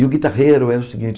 E o guitarrero era o seguinte.